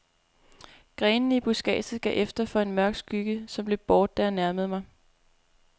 Grenene i buskadset gav efter for en mørk skygge, som løb bort, da jeg nærmede mig.